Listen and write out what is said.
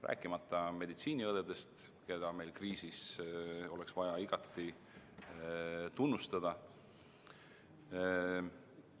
Rääkimata meditsiiniõdedest, keda meil kriisis oleks vaja igati tunnustada.